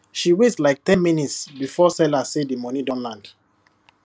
she wait like ten minutes before seller say the money don land